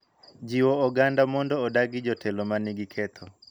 Jiwo oganda mondo odagi jotelo ma nigi ketho